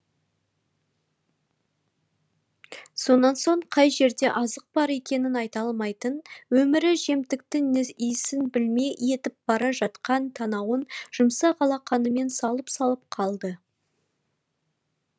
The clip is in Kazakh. сонан соң қай жерде азық бар екенін айта алмайтын өмірі жемтіктің иісін білмей етіп бара жатқан танауын жұмсақ алақанымен салып салып қалды